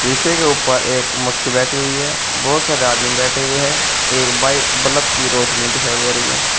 शीशे के ऊपर एक मक्की बैठी हुई है बहोत सारे आदमी बैठे हुए हैं एक बाई बलफ की रोशनी दिखाई दे रही है।